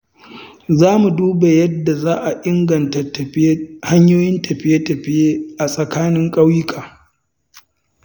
Za mu duba yadda za a inganta hanyoyin tafiye-tafiye a tsakanin ƙauyuka.